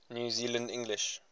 new zealand english